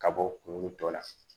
Ka bɔ kunkolo tɔ la